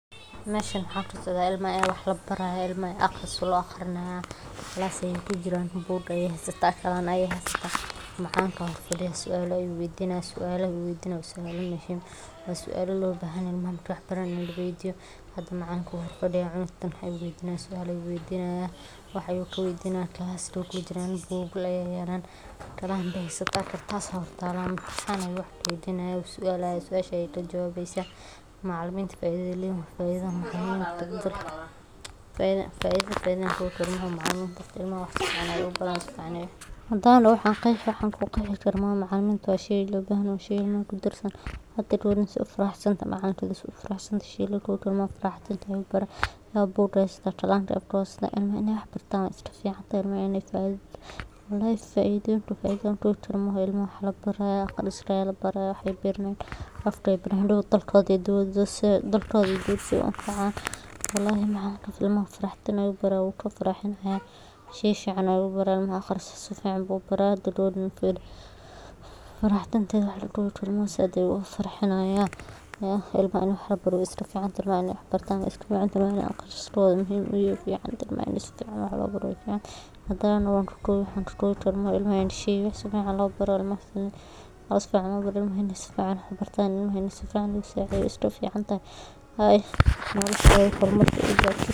Meshan waxan arki haya in ilma wax labari hayo aqris lo aqrinaya glass ayey kujiran bug ayey hasata qalin ayey hasata macalinka aya hor fada suala ayu weydinaya sualaha u weydinaya waa suala lobahan yahay bugal aya yalan qalin ayey hasata, suasha ayey lajawabesa macaliminta faidada ee leyihin waa faidha macalinta ilmaha si fican ayey wax ubaran hadan doho wan qeexi wax an ku qeexi karo malaha macaliminta waa shey lo bahan yoho waa shey hada geewedan sithe ufaraxsantahay macalinkedha ufarasatahay lawa bug ayey hasata afka ayey qalinka kuhasata, ilmaha in ee wax bartan we iska ficantahay ilmaha wey faidhayan walahi faidha lakowi karo maaha ilmaha wax aya labari haya hadow dalkodha iyo diwada si ee u an facan walahi macalinkan si faraxdin ayu wax ubari haya wu ka farxini haya si fican ayu ubari haya hada gawaden firi faraha naxdinta ayey wax laqori karin said ayu oga farxini haya ilmaha in wax labaro we iska ficantahay, ilmaha in ee aqriskodha muhiim u yahay wey ficantahy, ilmaha in si fican lobaro wey ficantahy, hadan doho wan sokowi wax laso kowi karo maaha, ilmaha in sifican wax lo baro ilmaha in sifican lo sacidheyo wey ficantahy nolashodha marki.